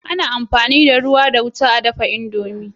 Ana amfani da rawa da wuta a dafa indomie